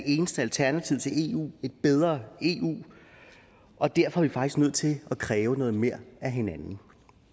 eneste alternativ til eu et bedre eu og derfor er vi faktisk nødt til at kræve noget mere af hinanden